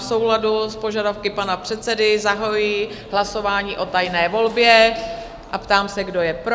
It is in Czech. V souladu s požadavky pana předsedy zahajuji hlasování o tajné volbě a ptám se, kdo je pro?